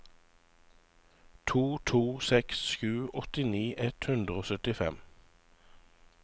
to to seks sju åttini ett hundre og syttifem